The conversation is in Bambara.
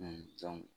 dɔn